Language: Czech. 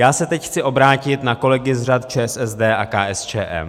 Já se teď chci obrátit na kolegy z řad ČSSD a KSČM.